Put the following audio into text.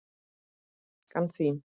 Frænka þín?